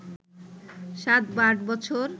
সাত বা আট বছর